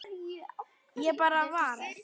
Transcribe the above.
Ég bara varð.